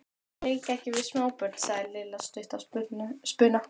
Ég leik ekki við smábörn sagði Lilla stutt í spuna.